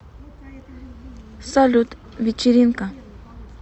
салют вечеринка